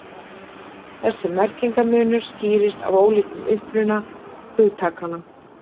þessi merkingarmunur skýrist af ólíkum uppruna hugtakanna